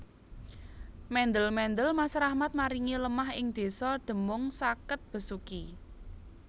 Mendel mendel Mas Rahmat maringi lemah ing desa Demung sakket Besuki